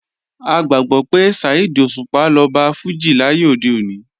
A gbàgbọ́ pé Saheed Òṣùpá lọba fújì láyé òde òní